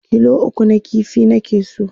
kilo 3 na ƙifi nake so